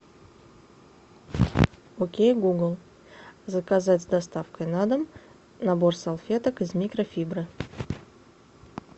окей гугл заказать с доставкой на дом набор салфеток из микрофибры